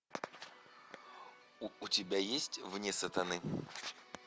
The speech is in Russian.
у тебя есть вне сатаны